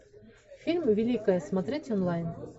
фильм великая смотреть онлайн